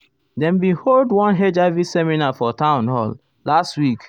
dem bin hold ah one hiv seminar for town hall last week.